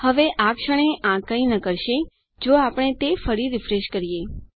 હવે આ ક્ષણે આ કાંઇ ન કરે જો આપણે તે ફરી રીફ્રેશ કરીએ